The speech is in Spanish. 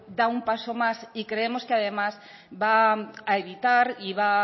da un paso más y creemos además que va a evitar y va